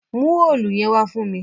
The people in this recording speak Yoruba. Mú òòlù yẹn wá fún mí!